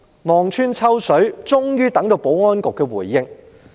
望穿秋水，終於等到保安局的回應。